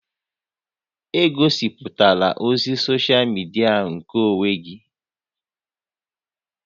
Egosiputala ozi soshal midia nkeonwe gị!